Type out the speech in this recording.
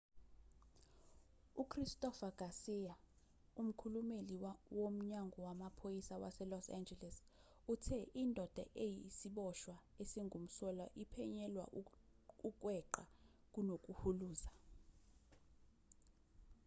uchristopher garcia umkhulumeli womnyango wamaphoyisa waselos angeles uthe indoda eyisiboshwa esingumsolwa iphenyelwa ukweqa kunokuhuluza